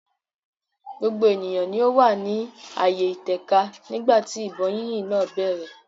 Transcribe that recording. gbogbo ènìyàn ni ó wà ní ààyè ìtẹ̀ka nígbà tí ìbọn yínyìn náà bẹ̀rẹ̀.